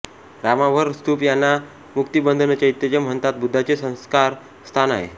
रामाभर स्तूप यांना मुक्तिबंधनचैत्य म्हणतात बुद्धांचे संस्कार स्थान आहे